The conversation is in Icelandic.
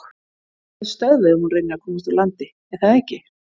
Hún verður stöðvuð ef hún reynir að komast úr landi, er það ekki?